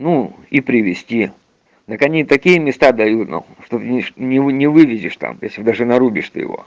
ну и привести так они такие места дают на хуй что не вылезешь там если даже нарубишь ты его